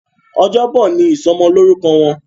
Ọjọ́ Bọ̀ ní ìsomo lórúko Wón.